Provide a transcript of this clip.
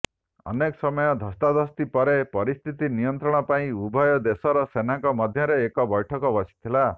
ଅନେକ ସମୟ ଧସ୍ତାଧସ୍ତି ପରେ ପରିସ୍ଥିତି ନିୟନ୍ତ୍ରଣ ପାଇଁ ଉଭୟ ଦେଶର ସେନାଙ୍କ ମଧ୍ୟରେ ଏକ ବୈଠକ ବସିଥିଲା